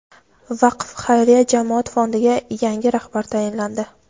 "Vaqf" xayriya jamoat fondiga yangi rahbar tayinlandi.